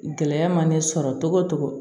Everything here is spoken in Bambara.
Gɛlɛya mana ne sɔrɔ togo togo